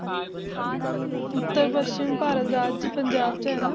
ਉੱਤਰ ਪੱਛਮ ਭਾਰਤ ਰਾਜ ਪੰਜਾਬ 'ਚ ਹੈ ਨਾ?